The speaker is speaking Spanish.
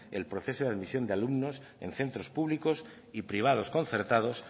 el proceso de admisión de alumnos en centros públicos y privados concertados